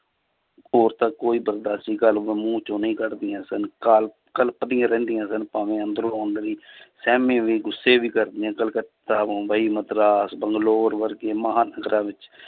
ਹੋਰ ਤਾਂ ਕੋਈ ਬੰਦਾ ਸੀ ਮੂੰਹ ਚੋਂ ਨਹੀਂ ਕੱਢਦੀਆਂ ਸਨ, ਕਲ~ ਕਲਪਦੀਆਂ ਰਹਿੰਦੀਆਂ ਸਨ ਭਾਵੇਂ ਅੰਦਰੋਂ ਅੰਦਰੀ ਸਹਿਮੇ ਵੀ ਗੁੱਸੇ ਵੀ ਕਰਦੀਆਂ ਕਲਕੱਤਾ, ਮੁੰਬਈ, ਮਦਰਾਸ, ਬੰਗਲੋਰ ਵਰਗੇ ਮਹਾਂਦਰਾ ਵਿੱਚ